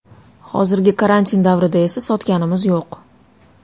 Hozirgi karantin davrida esa sotganimiz yo‘q.